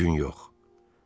Bu gün yox.